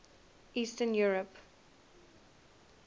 eastern europe